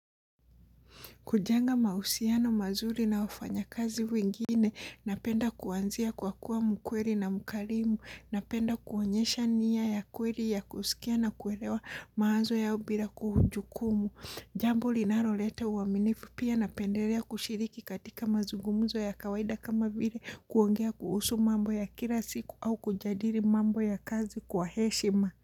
Kujenga mahusiano mazuri na wafanyakazi wengine, napenda kuanzia kwa kuwa mkweli na mkarimu, napenda kuonyesha niya ya kweli ya kusikia na kuelewa mawazo yao bila kuhujukumu. Jambo linaloleta uaminifu pia napendelea kushiriki katika mazugumzo ya kawaida kama vile kuongea kuhusu mambo ya kila siku au kujadili mambo ya kazi kwa heshima.